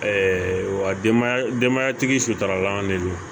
wa denbaya denbayatigi suturala an de don